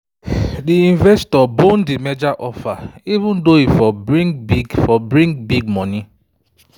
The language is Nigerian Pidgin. di investor bone the merger offer—even though e for bring big for bring big money